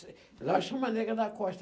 Lá chama nega da costa.